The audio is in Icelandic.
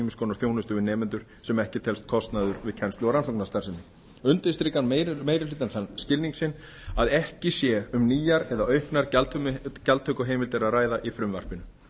konar þjónustu við nemendur sem ekki telst til kostnaðar við kennslu og rannsóknarstarfsemi undirstrikar meiri hlutinn þann skilning sinn að ekki sé um nýjar eða auknar gjaldtökuheimildir að ræða í frumvarpinu